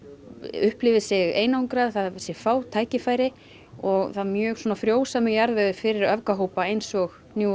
upplifir sig einangrað það séu fá tækifæri og það er mjög svona frjósamur jarðvegur fyrir öfgahópa eins og New